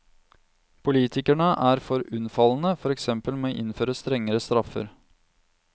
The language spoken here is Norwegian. Politikerne er for unnfallende, for eksempel med å innføre strengere straffer.